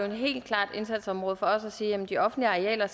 helt klart indsatsområde for os at sige at de offentlige arealer